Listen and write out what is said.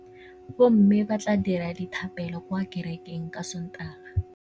Bommê ba tla dira dithapêlô kwa kerekeng ka Sontaga.